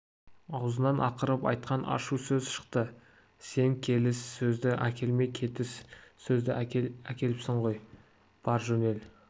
аузынан ақырып айтқан ашу сөз шықты сен келіс сөзді әкелмей кетіс сөзді әкеліпсің ғой бар жөнел